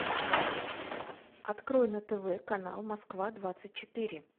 открой на тв канал москва двадцать четыре